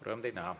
Rõõm teid näha.